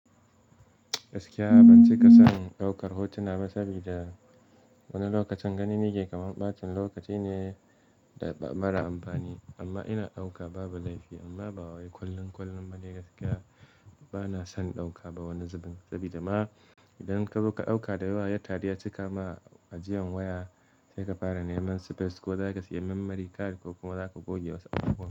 Gaskiya ban ce kasan daukar hotuna ba, sabida wani lokacin gani nake kamar ɓacin lokaci ne da mara amfani. Amma ina ɗauka babu laifi, amma ba wai kullum kullum. Ni gaskiya bana son ɗauka ba wani zubin, saboda ma idan kazo ka ɗauka da yawa ya taru yacika ma ajiyan waya. Sai ka fara neman space ko zaka siya memory card ko kuma zaka goge wasu abubuwa.